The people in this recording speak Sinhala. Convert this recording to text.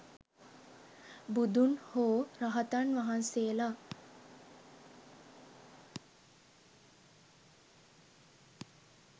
බුදුන් හෝ රහතන් වහන්සේලා